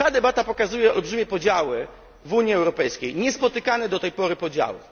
Ta debata pokazuje olbrzymie podziały w Unii Europejskiej, niespotykane do tej pory podziały.